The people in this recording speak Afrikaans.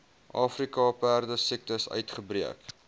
afrika perdesiekte uitgebreek